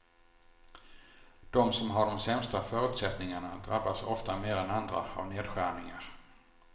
De som har de sämsta förutsättningarna drabbas ofta mer än andra av nedskärningar.